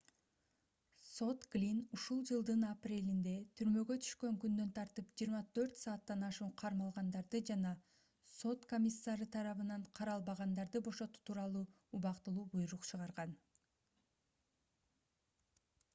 сот глинн ушул жылдын апрелинде түрмөгө түшкөн күндөн тартып 24 сааттан ашуун кармалгандарды жана сот комиссары тарабынан каралбагандарды бошотуу тууралуу убактылуу буйрук чыгарган